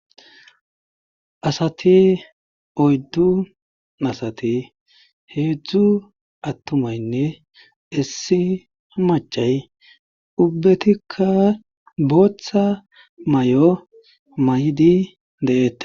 asati oyddun asati heedzdzu attumaynne issi machay ubbetikka booththa may7o maydi de7eete